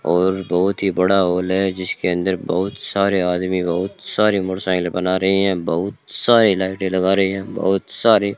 और बहुत ही बड़ा हॉल है जिसके अंदर बहुत सारे आदमी बहुत सारे मोटरसाइकिल बना रहे है बहुत सारे लाइटें लगा रहे है बहोत सारे --